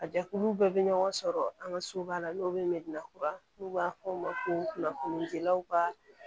A jɛkulu bɛɛ bɛ ɲɔgɔn sɔrɔ an ka so ba la n'o ye medina kura n'u b'a fɔ o ma ko kunnafoni dilaw ka